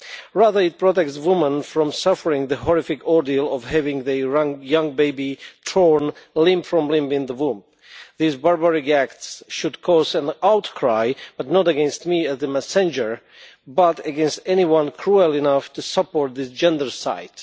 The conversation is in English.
Rather, it protects women from suffering the horrific ordeal of having their young baby torn limb from limb from the womb. These barbaric acts should cause an outcry, but not against me as the messenger, but against anyone cruel enough to support this gendercide.